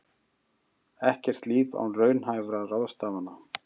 Ekkert líf án raunhæfra ráðstafana